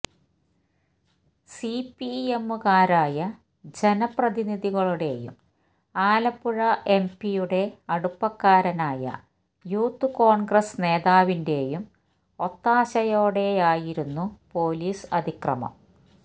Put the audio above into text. സിപിഎമ്മുകാരനായ ജനപ്രതിനിധിയുടെയും ആലപ്പുഴ എംപിയുടെ അടുപ്പകാരനായ യൂത്ത് കോണ്ഗ്രസ് നേതാവിന്റെയും ഒത്താശയോടെയായിരുന്നു പോലീസ് അതിക്രമം